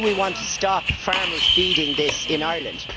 Do we want to stop farmers feeding this in Ireland?